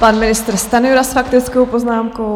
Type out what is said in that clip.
Pan ministr Stanjura s faktickou poznámkou.